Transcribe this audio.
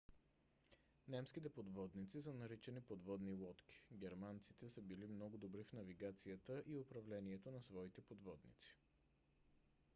немските подводници са наричани подводни лодки . германците са били много добри в навигацията и управлението на своите подводници